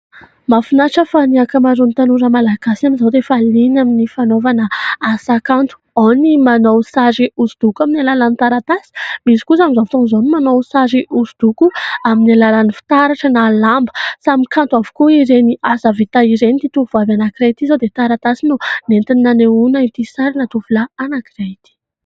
Mahafinaritra fa ny ankamaroan'ny tanora malagasy amin'izao dia variana amin'ny fanaovana asa kanto, ao ny manao sary hosodoko amin'ny alalan'ny taratasy, misy kosa amin'izao fotoan'izao ny manao sary hosodoko amin'ny alalan'ny fitaratra na lamba. Samy kanto avokoa ireny asa vita ireny ; ity tovovavy anankiray ity izao dia taratasy no nentiny nanehoana ity sarina tovolahy anankiray ity.